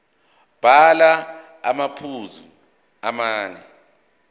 bhala amaphuzu amane